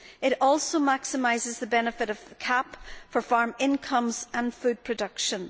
It also maximises the benefit of CAP for farm incomes and food production.